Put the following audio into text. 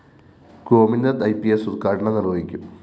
Gopinath E P സ്‌ ഉദ്ഘാടനം നിര്‍വ്വഹിക്കും